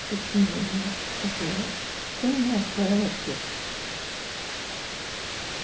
сочинение во-первых ты мне отправила текст